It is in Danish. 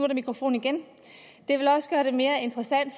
der mikrofon igen det vil også gøre det mere interessant